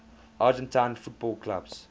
argentine football clubs